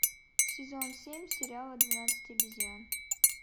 сезон семь сериала двенадцать обезьян